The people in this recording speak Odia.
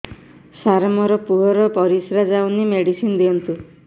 ସାର ମୋର ପୁଅର ପରିସ୍ରା ଯାଉନି ମେଡିସିନ ଦିଅନ୍ତୁ